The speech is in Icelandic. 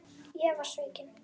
Ég var svikinn